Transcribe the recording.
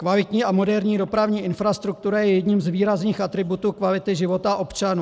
Kvalitní a moderní dopravní infrastruktura je jedním z výrazných atributů kvality života občanů.